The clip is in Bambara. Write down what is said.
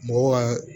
Mɔgɔw ka